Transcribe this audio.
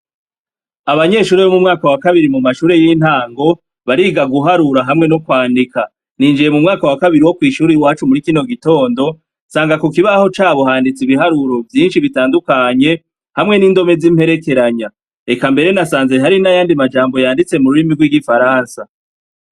Abanyeshuri b' mu mwaka wa kabiri mu mashure y'intango bariga guharura hamwe no kwandika ninjiye mu mwaka wa kabiri wo kw'ishura i wacu muri kino gitondo sanga ku kibaho ca bohanditsa ibiharuro vyinshi bitandukanye hamwe n'indome z'imperekeranya eka mbere nasanze hari n'ayandi majambo yanditse mu rurimi rw'igifaransa.